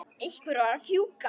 Einhver varð að fjúka.